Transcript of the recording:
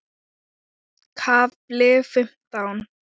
KAFLI FIMMTÁN